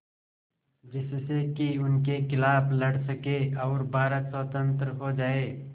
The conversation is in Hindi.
जिससे कि उनके खिलाफ़ लड़ सकें और भारत स्वतंत्र हो जाये